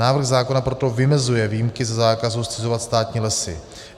Návrh zákona proto vymezuje výjimky ze zákazu zcizovat státní lesy.